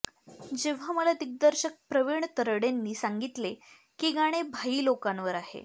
जेव्हा मला दिग्दर्शक प्रविण तरडेंनी सांगितले की गाणे भाई लोकांवर आहे